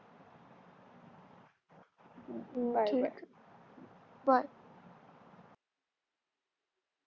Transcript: bye bye per